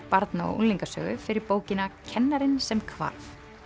barna og fyrir bókina kennarinn sem hvarf